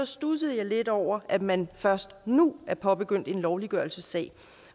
studsede jeg lidt over at man først nu har påbegyndt en lovliggørelsessag